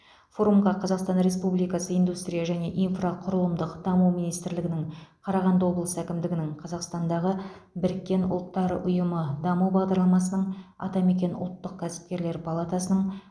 форумға қазақстан республикасы индустрия және инфрақұрылымдық даму министрлігінің қарағанды облысы әкімдігінің қазақстандағы біріккен ұлттар ұйымы даму бағдарламасының атамекен ұлттық кәсіпкерлер палатасының